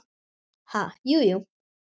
Ha, jú, jú